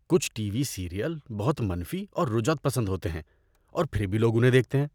کچھ ٹی وی سیریل بہت منفی اور رجعت پسند ہوتے ہیں اور پھر بھی لوگ انہیں دیکھتے ہیں۔